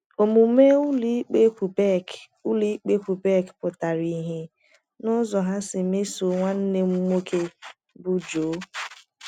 Omume ụlọikpe Quebec ụlọikpe Quebec pụtara ìhè n’ụzọ ha si mesoo nwanne m nwoke, bụ́ Joe.